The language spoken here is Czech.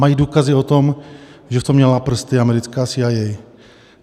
Mají důkazy o tom, že v tom měla prsty americká CIA.